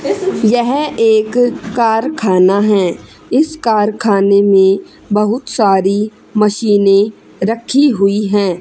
यह एक कारखाना है इस कारखाने में बहुत सारी मशीने रखी हुई है।